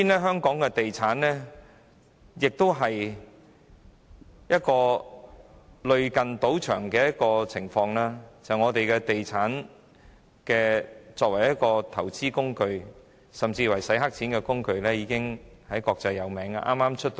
香港的地產市場同樣類似賭場，本港物業作為投資工具甚或洗黑錢工具，已經國際聞名。